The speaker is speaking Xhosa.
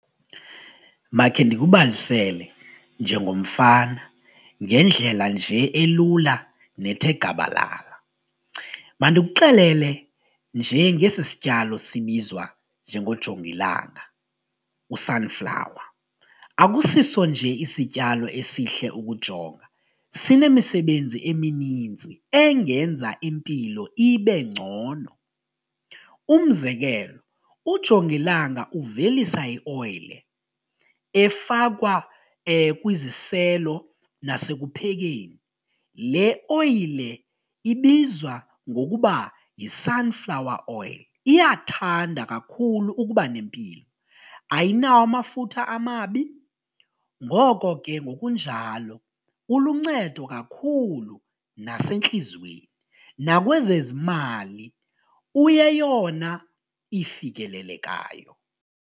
Makhe ndikubalisele njengomfana ngendlela nje elula nethe gabalala. Mandikuxelele nje ngesi sityalo sibizwa njengo jongilanga u-sunflower akusiso nje isityalo esihle ukujonga, sinemisebenzi emininzi engenza impilo ibe ngcono. Umzekelo, ujongilanga uvelisa ioyile efakwa kwiziselo nasekuphekeni, le oyile ibizwa ngokuba yi-sunflower oil, iyathanda kakhulu ukuba nempilo ayinawo amafutha amabi ngoko ke ngokunjalo uluncedo kakhulu nasentliziyweni nakwezezimali uyeyona ifikelelekayo.